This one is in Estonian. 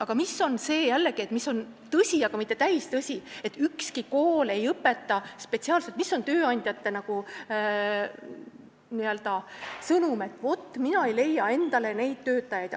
Aga jällegi on tõsi, aga mitte täistõsi see tööandjate n-ö sõnum, et nad ei leia endale töötajaid.